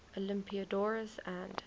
olympiodoros and